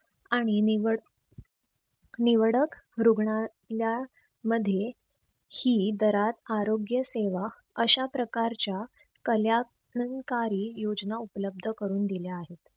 आणि निवड निवडक रुग्णातल्या मध्ये ही दरात आरोग्य सेवा अश्या प्रकारच्या योजना उपलब्ध करून दिल्या आहेत.